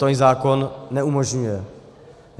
To jí zákon neumožňuje.